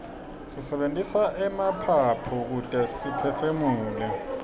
sisebentisa emaphaphu kute siphefumule